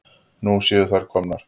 Nú séu þær komnar.